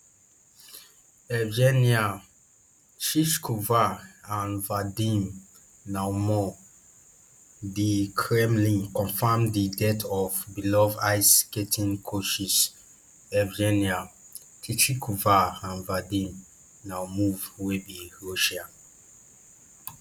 evgenia shishkova and vadim naumov di kremlin confam di deaths of beloved ice skating coaches evgenia shishkova and vadim naumov wey be russian